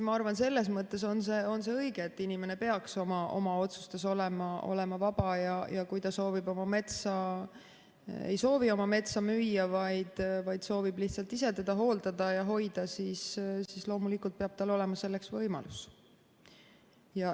Ma arvan, et selles mõttes on see kindlasti õige, et inimene peaks oma otsustes olema vaba ja kui ta ei soovi oma metsa müüa, vaid soovib ise teda hooldada ja hoida, siis loomulikult peab tal olema selleks võimalus.